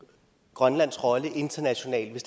grønlands rolle internationalt hvis